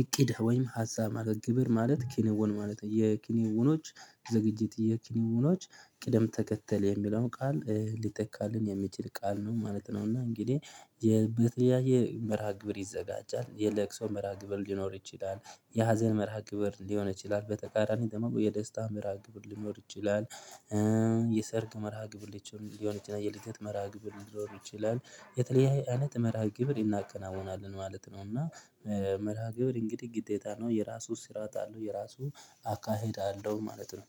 እቅድ ወይም ሀሳብ ማለት ነው። ግብር ማለት ክንውን ማለት ነው የክንውኖች ዝግጅት የክንውኖች ቅደም ተከተል የሚለውን ቃል ሊተካልን የሚችል ቃል ነው ማለት ነው እና እንግዲህ የተለያየ መርሃ-ግብር ይዘጋጃል የለቅሶ መርሃ ግብር ሊኖር ይችላል፣ የሀዘን መርሃ ግብር ሊሆን ይችላል፣ በተቃራኒ ደግሞ የደስታ መርሃ ግብር ሊኖር ይችላል። የሰርግ መርሃ-ግብር ሊኖር ይችላል የልደት መርሃ-ግብር ይችላል የተለያየ አይነት መርሃ ግብር እናከናውናለን ማለት ነው እና መርሃ ግብር እንግዲህ ግዴታ ነው። የራሱ ስርዓት አለው የራሱ አካሄድ አለው ማለት ነው።